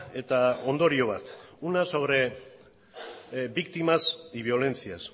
eta ondorio bat una sobre víctimas y violencias